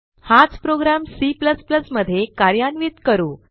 हाच program C मध्ये कार्यान्वित करू